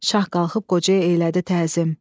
Şah qalxıb qocaya eylədi təzim.